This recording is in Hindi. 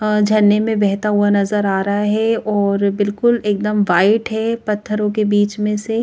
झन्ने में बहता हुआ नजर आ रहा है और बिल्कुल एकदम वाइट है पत्थरों के बीच में से--